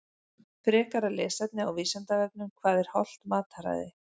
Frekara lesefni á Vísindavefnum Hvað er hollt mataræði?